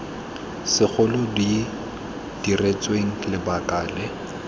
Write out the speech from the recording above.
segolo di diretsweng lebaka le